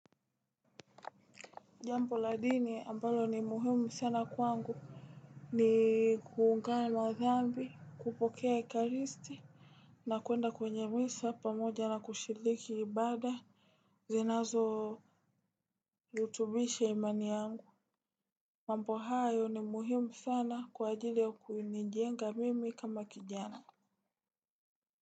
Jambo la dini ambalo ni muhimu sana kwangu ni kuungana madhambi kupokea ekaristi na kuenda kwenye misa pamoja na kushiliki ibada zinazo utubishe imani yangu. Mambo hayo ni muhimu sana kwa ajili ya kunijenga mimi kama kijana.